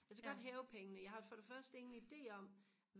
altså jeg kan godt hæve pengene jeg har for det første ingen ide om